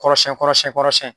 Kɔrɔsɛn kɔrɔsɛn kɔrɔsɛn